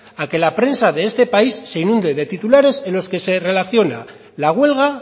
a que la prensa de este país se inunde de titulares en los que se relaciona la huelga